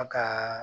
A ka